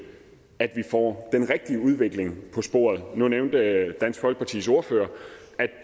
at vi får den rigtige udvikling på sporet nu nævnte dansk folkepartis ordfører at